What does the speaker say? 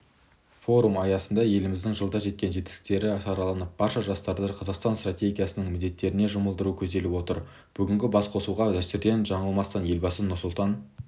форум аясында еліміздің жылда жеткен жетістіктері сараланып барша жастарды қазақстан стратегиясының міндеттеріне жұмылдыру көзделіп отыр бүгінгі басқосуға дәстүрден жаңылмастан елбасы нұрсұлтан